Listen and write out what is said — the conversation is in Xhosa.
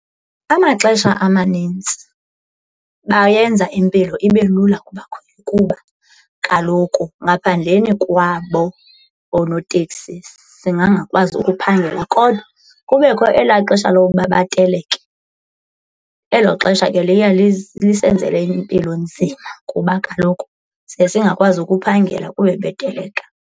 Amaxesha amanintsi bayenza impilo ibe lula kubakhweli kuba kaloku ngaphandleni kwabo oonoteksi singangakwazi ukuphangela kodwa kubekho ela xesha lokuba bateleke. Elo xesha ke liye lisenzele impilo nzima kuba kaloku siye singakwazi ukuphangela kuba beteleka.